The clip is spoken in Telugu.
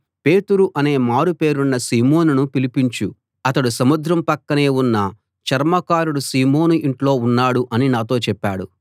పేతురు అనే మారు పేరున్న సీమోనును పిలిపించు అతడు సముద్రం పక్కనే ఉన్న చర్మకారుడు సీమోను ఇంట్లో ఉన్నాడు అని నాతో చెప్పాడు